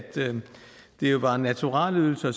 det var naturalieydelser